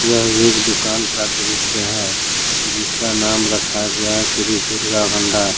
यह एक दुकान का दृश्य है जिसका नाम रखा गया श्री दुर्गा भंडार।